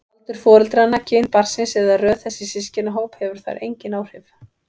Aldur foreldranna, kyn barnsins eða röð þess í systkinahóp hefur þar engin áhrif.